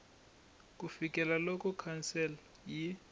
ku fikela loko council yi